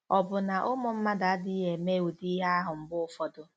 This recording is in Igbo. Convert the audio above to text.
Ọ̀ bụ na ụmụ mmadụ adịghị eme ụdị ihe ahụ mgbe ụfọdụ?